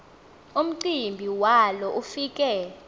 umcimbi walo ufike